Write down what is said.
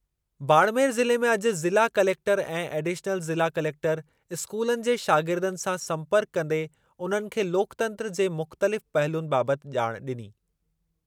बाड़मेर ज़िले में अॼु ज़िला कलेक्टरु ऐं एडिशनल ज़िला कलेक्टरु स्कूलनि जे शागिर्दनि सां संपर्कु कंदे उन्हनि खे लोकतंत्रु जे मुख़्तलिफ़ पहलुनि बाबति ॼाण ॾिनी।